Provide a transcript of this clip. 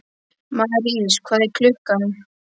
Marís, hvað er klukkan?